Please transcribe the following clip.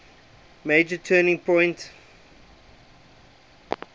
major turning point